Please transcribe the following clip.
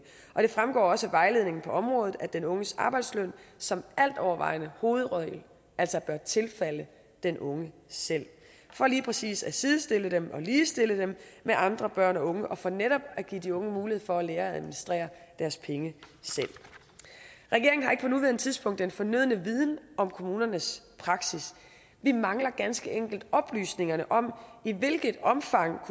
og det fremgår også af vejledningen på området at den unges arbejdsløn som altovervejende hovedregel altså bør tilfalde den unge selv for lige præcis at sidestille dem og ligestille dem med andre børn og unge og for netop at give de unge mulighed for at lære at administrere deres penge selv regeringen har ikke på nuværende tidspunkt den fornødne viden om kommunernes praksis vi mangler ganske enkelt oplysningerne om i hvilket omfang